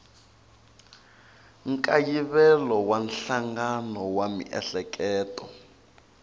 nkayivelo wa nhlangano wa miehleketo